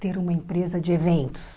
Ter uma empresa de eventos.